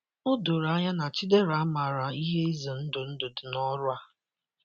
O doro anya na Chidera maara ihe ize ndụ ndụ dị n’ọrụ a.